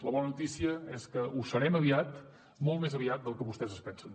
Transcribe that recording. la bona notícia és que ho serem aviat molt més aviat del que vostès es pensen